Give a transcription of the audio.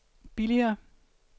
billigere